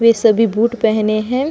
वे सभी बूट पहने है |